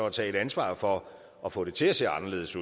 at tage et ansvar for at få det til at se anderledes